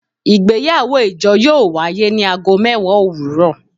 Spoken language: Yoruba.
Igbeyawo ijo yoo waye ni aago mẹwa owurọ